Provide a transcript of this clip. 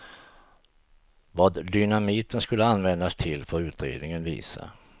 Vad dynamiten skulle användas till får utredningen visa.